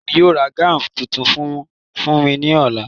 Ìyá mi yóò ra gáùn tuntun kan fún mi ní ọ̀la